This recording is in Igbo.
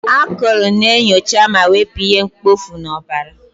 Akụrụ na-enyocha ma wepụ ihe mkpofu n'ọbara.